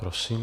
Prosím.